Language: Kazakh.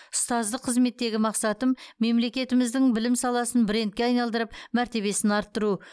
ұстаздық қызметтегі мақсатым мемлекетіміздің білім саласын брендке айналдырып мәртебесін арттыру